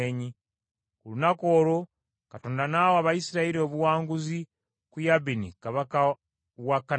Ku lunaku olwo Katonda n’awa Abayisirayiri obuwanguzi ku Yabini kabaka wa Kanani.